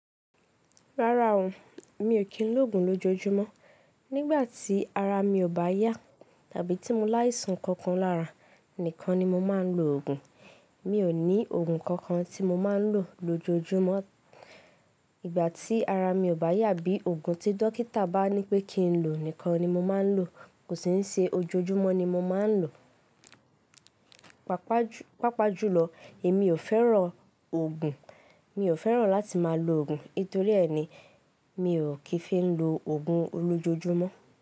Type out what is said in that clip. Rárá o, mi ò kí ń lògùn lójojúmọ́. Nígbà tí ara mi ò bá yá tàbí tí mo láìsàn kankan lára, nìkan ni mo máa ń lo ògùn. Mi ò ní ògùn kankan tí mo máa ń lò lójojúmọ́. Ìgbà tí ara mi ò bá yá bí ògùn tí dókítà bá ní pé kí n lò nìkan ni mo máa ń lò. Kò sì ní ṣe ojoojúmọ́ ni mo máa ń lò. Pápá-pápá jùlọ, èmi ò fẹ́ràn ògùn. Mi ò fẹ́ràn láti máa lo ògùn. Nítorí ẹ́ ni, mi ò kí ń fi lè lo ògùn lójoojúmọ́.